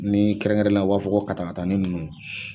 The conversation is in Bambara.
Ni kɛrɛnkɛrɛnenyal a, u b'a fɔ ko kata kataani ninnu